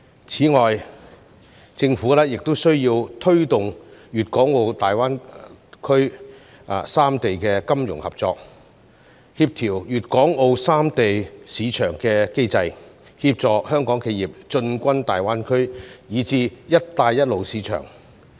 此外，政府亦需要推動大灣區三地的金融合作、協調粵港澳三地市場機制，協助香港企業進軍大灣區以至"一帶一路"市場。